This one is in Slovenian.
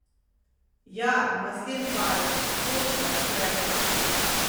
Ja, maslen pajek, točno, Gregor!